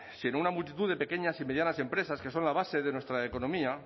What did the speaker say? sino una multitud de pequeñas y medianas empresas que son la base de nuestra economía